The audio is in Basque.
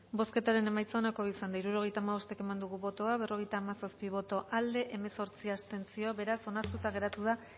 bozketaren emaitza onako izan da hirurogeita hamabost eman dugu bozka berrogeita hamazazpi boto aldekoa hemezortzi abstentzio beraz onartuta geratu da